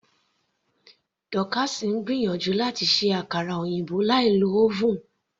Dorcas ń gbìyànjú láti ṣe àkara òyìnbó láì lo oven.